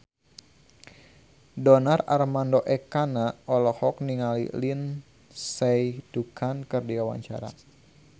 Donar Armando Ekana olohok ningali Lindsay Ducan keur diwawancara